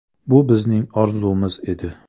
Bu bizning orzumiz edi.